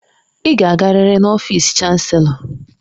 Ị ga-agarịrị n'ọfịsi chanselọ